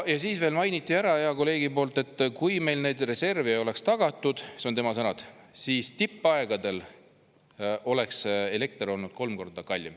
Ja veel mainiti ära hea kolleegi poolt, et kui meil neid reserve ei oleks tagatud – need on tema sõnad –, siis tipuaegadel oleks elekter olnud kolm korda kallim.